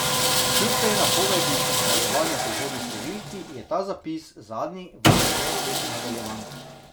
Kljub tej napovedi nadaljevanja v prihodnji številki, je ta zapis zadnji v tej večletni nadaljevanki.